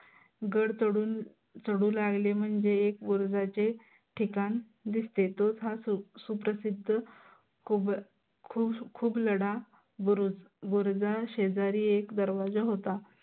गड चढून चढू लागले, म्हणजे एक बुरुजाचे ठिकाण दिसते. तोच हा सुप्रसिद्ध खुग खुग खुगलढा बुरुज बुरुजा शेजारी एक दरवाजा होता.